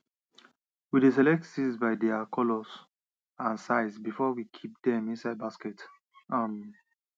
we dey select seeds by their by their colours and sizes before we kip dem inside baskets um